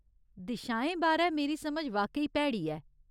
दिशाएं बारै मेरी समझ वाकई भैड़ी ऐ।